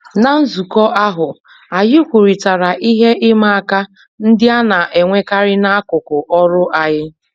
Ná nzukọ ahụ, anyị kwurịtara ihe ịma aka ndị a na-enwekarị n'akụkụ ọrụ anyị